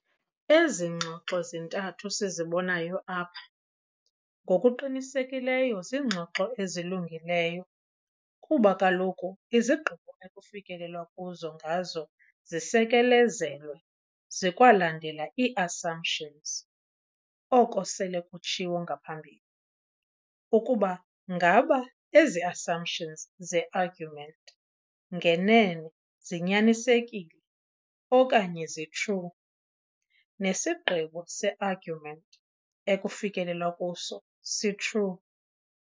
Ezi ngxoxo zintathu sizibonayo apha ngokuqinisekileyo ziingxoxo ezilungileyo kuba kaloku izigqibo ekufikelelwa kuzo ngazo zisekelezelwe zikwalandela ii-assumptions, oko sele kutshiwo ngaphambili. Ukuba ngaba ezi-assumptions ze-argument ngenene zinyanisekile okanye zi-true, nesigqibo se-argument ekufikelelwa kuso si-true.